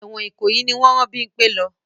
Ẹ̀wọ̀n Ìkòyí ni wọ́n rán Bímpẹ́ lọ.